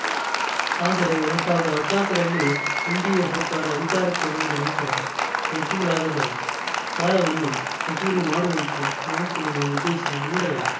ಆದರೆ ಎರಡ್ ಸಾವಿರದ ಹದಿನಾಲ್ಕ ರಲ್ಲಿ ಎನ್‌ಡಿಎ ಸರ್ಕಾರ ಅಧಿಕಾರಕ್ಕೆ ಬಂದ ನಂತರ ವಸೂಲಾಗದ ಸಾಲವನ್ನು ವಸೂಲಿ ಮಾಡುವಂತೆ ಬ್ಯಾಂಕ್‌ಗಳಿಗೆ ನಿರ್ದೇಶನ ನೀಡಲಾಯಿತು